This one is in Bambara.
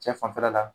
Cɛ fanfɛla la